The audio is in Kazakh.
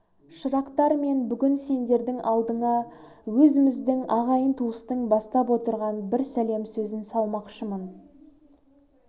шырақтар мен бүгін сендердің алдыңа өзіміздің ағайын-туыстың бастап отырған бір сәлем сөзін салмақшымын